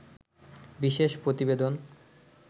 বিশেষ প্রতিবেদন